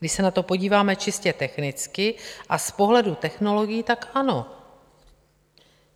Když se na to podíváme čistě technicky a z pohledu technologií, tak ano.